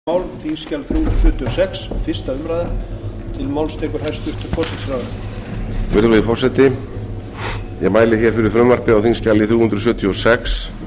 ég finn ekki enn gluggann til hægri með öllu virðulegi forseti ég mæli hér fyrir frumvarpi á þingskjali þrjú hundruð sjötíu og sex